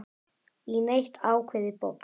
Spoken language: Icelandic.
í neitt ákveðið box.